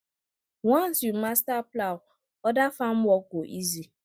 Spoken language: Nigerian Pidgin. once you master plow other farm work go easy